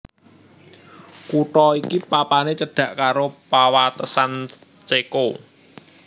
Kutha iki papané cedhak karo pawatesan Ceko